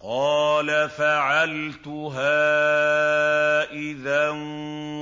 قَالَ فَعَلْتُهَا إِذًا